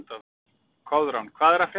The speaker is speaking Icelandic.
Koðrán, hvað er að frétta?